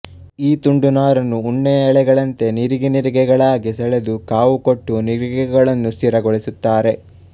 ಈ ತುಂಡು ನಾರನ್ನು ಉಣ್ಣೆಯ ಎಳೆಗಳಂತೆ ನಿರಿಗೆನಿರಿಗೆಗಳಾಗಿ ಸೆಳೆದು ಕಾವು ಕೊಟ್ಟು ನಿರಿಗೆಗಳನ್ನು ಸ್ಥಿರಗೊಳಿಸುತ್ತಾರೆ